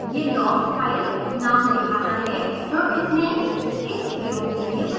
यह log file नाम दिखाता है जो इसने इस प्रयोग के लिए बनाया है